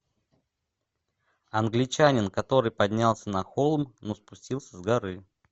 англичанин который поднялся на холм но спустился с горы